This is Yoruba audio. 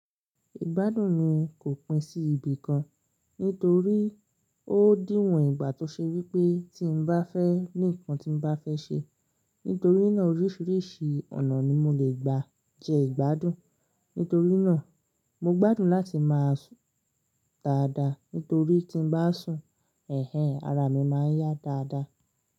Ìgbádùn mi kò pín sí ibì kan, nítorí ó dìwọ̀n ìgbà tó ṣe wí pé tí mo bá fẹ́ ní nǹkan tí mo bá fẹ́ ṣe, nítorí náà oríṣiríṣi ọ̀nà ni mo lè gba jẹ ìgbádùn. Nítorí náà, mo gbádùn láti máa sùn dáadáa, nítorí tí mo bá sùn, ẹ̀hen ara mi máa ń yá dáadáa.